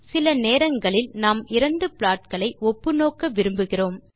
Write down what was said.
சில நேரங்களில் நாம் இரண்டு ப்லாட்களை ஒப்புநோக்க விரும்புகிறோம்